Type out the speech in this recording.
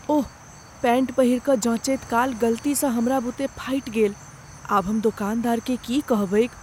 ओह, pant पहिरि कऽ जँचैत काल गलतीसँ हमरा बुते फाटि गेल। आब हम दोकानदारकेँ की कहबैक?